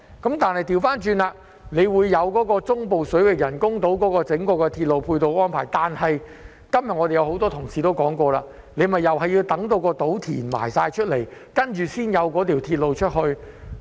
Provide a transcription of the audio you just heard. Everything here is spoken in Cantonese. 相反，當局卻就中部水域人工島制訂了整個鐵路配套安排，但今天很多同事亦說過，這也要等到人工島落成，然後才會有鐵路。